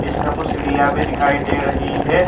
इसमें कुछ सीढियां भी दिखाई दे रही हैं।